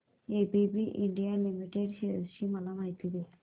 ABB India limited shares ची माहिती दे